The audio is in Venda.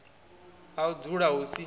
ha u dzula hu si